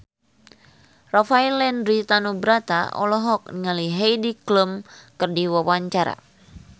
Rafael Landry Tanubrata olohok ningali Heidi Klum keur diwawancara